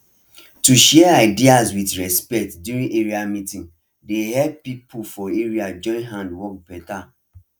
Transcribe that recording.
to share ideas with respect during area meeting dey help people for area join hand work beta